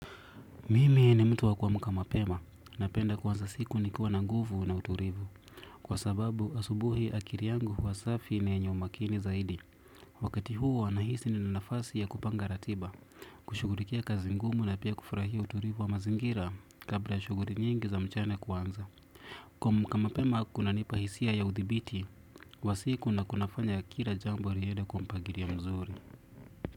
Mimi ni mtu wa kuamka mapema napenda kuanza siku nikiwa na nguvu na utulivu. Kwa sababu asubuhi akili yangu huwa safi ni yenye umakini zaidi. Wakati huo nahisi nina nafasi ya kupanga ratiba. Kushughulikia kazi ngumu na pia kufurahia utulivu wa mazingira kabla ya shughuli nyingi za mchana kuanza. Kuamka mapema kunanipa hisia ya udhibiti kwa siku na kunafanya kila jambo liende kwa mpangilio mzuri.